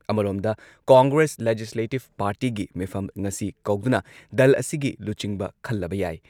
ꯁꯤꯕ ꯁꯦꯅꯥꯒꯤ ꯂꯨꯆꯤꯡꯕ ꯎꯙꯕ ꯊꯥꯀ꯭ꯔꯦꯅ ꯉꯁꯤ ꯃꯨꯝꯕꯥꯏꯗ ꯗꯜ ꯑꯁꯤꯒꯤ ꯑꯦꯝ.ꯑꯦꯜ.ꯑꯦꯁꯤꯡꯒꯤ ꯃꯤꯐꯝ ꯀꯧꯔꯤ ꯫